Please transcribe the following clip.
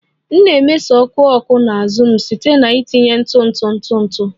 M na-emeso ọkụ ọkụ na azụ m site na itinye ntụ ntụ ntụ ntụ